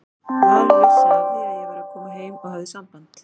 Valur vissi af því að ég væri að koma heim og hafði samband.